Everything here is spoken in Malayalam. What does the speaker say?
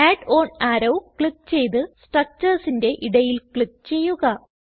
അഡ് ഓൺ അറോ ക്ലിക്ക് ചെയ്ത് structuresന്റെ ഇടയിൽ ക്ലിക്ക് ചെയ്യുക